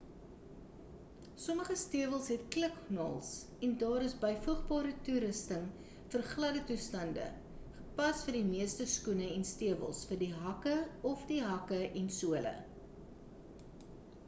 sommige stewels het kliknaels en daar is byvoegbare toerusting vir gladde toestande gepas vir die meeste skoene en stewels vir die hakke of die hakke en sole